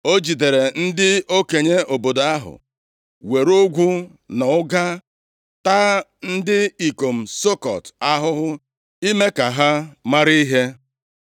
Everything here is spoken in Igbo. O jidere ndị okenye obodo ahụ, were ogwu na ụga taa ndị ikom Sukọt ahụhụ ime ka ha mara ihe.